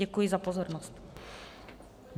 Děkuji za pozornost.